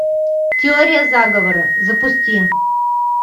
теория заговора запусти